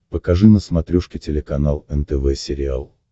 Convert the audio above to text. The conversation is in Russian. покажи на смотрешке телеканал нтв сериал